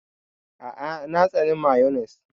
A'a! Na tsani mayones.